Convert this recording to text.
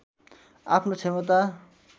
आफ्नो क्षमता